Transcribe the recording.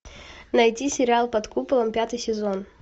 найти сериал под куполом пятый сезон